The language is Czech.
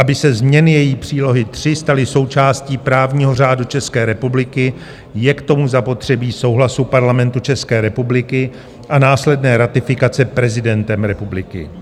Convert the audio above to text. Aby se změny její přílohy III staly součástí právního řádu České republiky, je k tomu zapotřebí souhlasu Parlamentu České republiky a následná ratifikace prezidentem republiky.